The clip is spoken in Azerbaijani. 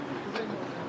Bu sözdə deyil.